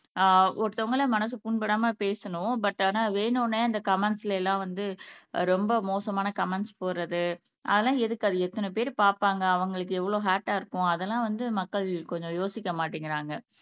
ஆஹ் ஒருத்தவங்களே மனசு புண்படாமல் பேசணும் பட் ஆனா வேணும்னே அந்த கமெண்ட்ஸ்ல எல்லாம் வந்து ரொம்ப மோசமான கமெண்ட்ஸ் போடுறது அதெல்லாம் எதுக்கு அதை எத்தனை பேர் பார்ப்பாங்க அவங்களுக்கு எவ்வளவு ஹெர்ட்டா இருக்கும் அதெல்லாம் வந்து மக்கள் கொஞ்சம் யோசிக்க மாட்டேங்குறாங்க